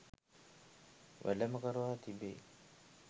වැඩම කරවා තිබේ.